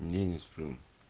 не не сплю